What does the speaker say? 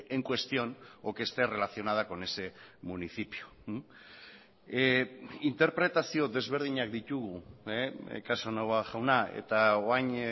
en cuestión o que esté relacionada con ese municipio interpretazio desberdinak ditugu casanova jauna eta orain